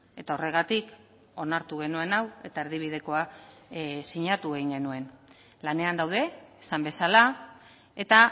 eta horregatik onartu genuen hau eta erdi bidekoa sinatu egin genuen lanean daude esan bezala eta